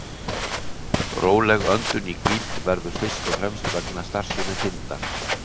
Róleg öndun í hvíld verður fyrst og fremst vegna starfsemi þindar.